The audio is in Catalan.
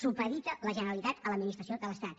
supedita la generalitat a l’administració de l’estat